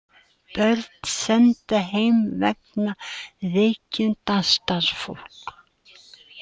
Börn send heim vegna veikinda starfsfólks